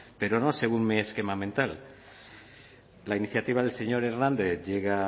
pero no según mi esquema mental la iniciativa del señor hernández llega